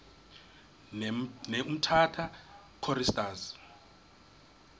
ne umtata choristers